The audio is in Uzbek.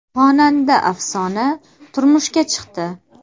Xonanda Afsona turmushga chiqdi .